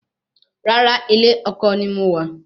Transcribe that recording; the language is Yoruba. Rárá, ilé ọkọ ni mo wà